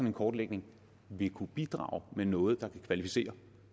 en kortlægning vil kunne bidrage med noget der kunne kvalificere